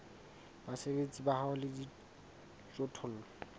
basebeletsi ba hao le dijothollo